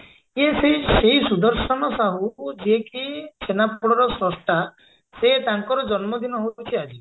ଇଏ ସେଇ ସେଇ ସୁଦର୍ଶନ ସାହୁ ଯିଏ କି ଛେନାପୋଡର ସ୍ରଷ୍ଟା ସେ ତାଙ୍କର ଜନ୍ମଦିନ ହଉଛି ଆଜି